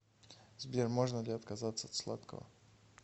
сбер можно ли отказаться от сладкого